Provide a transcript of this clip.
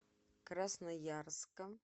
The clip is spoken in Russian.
красноярска